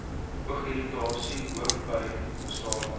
oogirritasie hoofpyn nasale